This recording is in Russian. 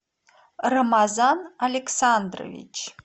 рамазан александрович